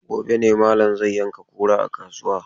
Gobe ne malam zai yanka kura a kasuwa.